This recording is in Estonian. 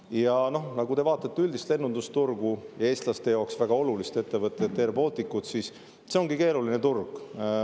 Ja kui te vaatate üldist lennundusturgu ja eestlaste jaoks väga olulist ettevõtet airBaltic, siis see ongi keeruline turg.